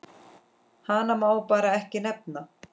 Hana má bara ekki nefna.